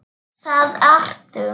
Það ertu.